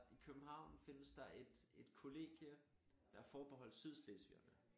I København findes der et et kollegie der er forbeholdt sydslesvigerne